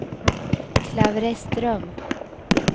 Klavreström